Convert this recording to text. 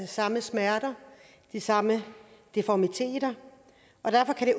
samme smerter de samme deformiteter derfor kan